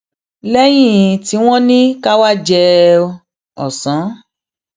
léyìn tí wón ní ká wá jẹun òsán